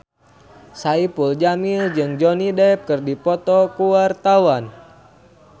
Saipul Jamil jeung Johnny Depp keur dipoto ku wartawan